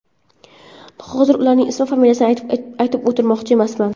Hozir ularning ism-familiyasini aytib o‘tirmoqchi emasman.